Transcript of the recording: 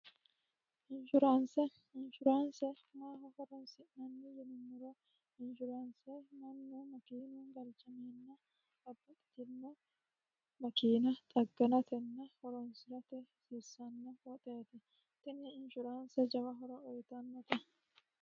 inshuraanse maaho horonsi'nanni yinu muro inshuraanse mannu makiinu galchamiinna abba itinno makiina xagganatenna horonsirate hsiirsanno hooxeete tinni inshuraanse jawa hora uyitannote